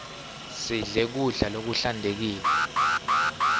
sidle kudla lokuhlantekile